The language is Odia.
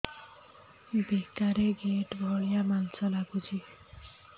ବେକରେ ଗେଟା ଭଳିଆ ମାଂସ ଲାଗୁଚି